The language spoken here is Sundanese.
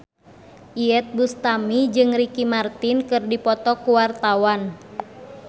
Iyeth Bustami jeung Ricky Martin keur dipoto ku wartawan